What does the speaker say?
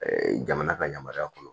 jamana ka yamaruya kɔnɔ